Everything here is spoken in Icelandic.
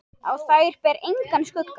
Á þær ber engan skugga.